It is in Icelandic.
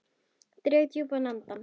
Dreg djúpt andann.